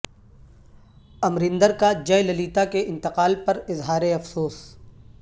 امریندر کا جے للیتا کے انتقال پر اظہار افسوس